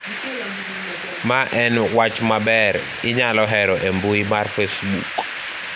ma en wach maber, inyalo hero e mbui mar facebook